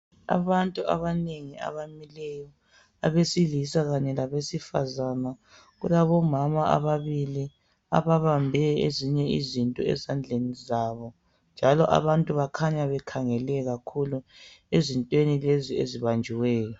Abantu abanengi abamileyo, abesilisa kanye labesifazana. Kulabomama ababili ababambe ezinye izinto ezandleni zabo njalo bakhanya bekhangele kakhulu ezintweni lezi ezibanjiweyo.